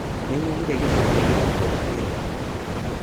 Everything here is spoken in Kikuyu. Nĩnyonire gĩcamba gĩgĩkũga kĩroko